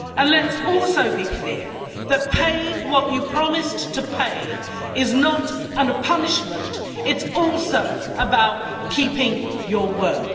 Let's also be clear that paying what you promised to pay is not a punishment it is also about keeping your word.